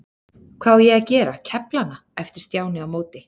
Hvað á ég að gera, kefla hana? æpti Stjáni á móti.